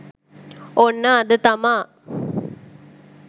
ඔන්න අද තමා